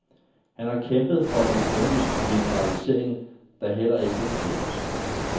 Han har kæmpet for en økonomisk liberalisering, der heller ikke er lykkedes.